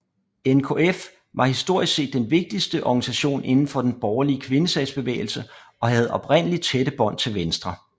NKF var historisk set den vigtigste organisation inden for den borgerlige kvindesagsbevægelse og havde oprindelig tætte bånd til Venstre